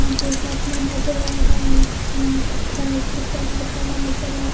यहां पे एक आदमी नजर आ रहा है यहां पे प्राइस के साथ लिखा हुआ नजर आ --